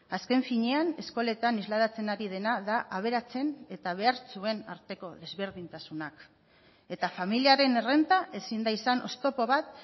azken finean eskoletan islatzen ari dena da aberatsen eta behartsuen arteko desberdintasunak eta familiaren errenta ezin da izan oztopo bat